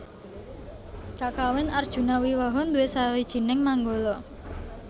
Kakawin Arjunawiwaha nduwé sawijining manggala